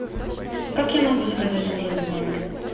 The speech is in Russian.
как я могу заказать ужин в номер